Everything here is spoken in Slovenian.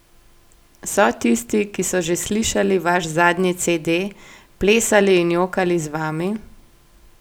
So tisti, ki so že slišali vaš zadnji cede, plesali in jokali z vami?